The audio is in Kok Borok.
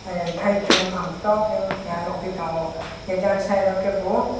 eh taisong pang toke keha nogpitango jan side o ke bo.